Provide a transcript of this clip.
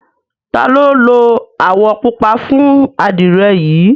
ta lo lo awọ pupa fun adire yi?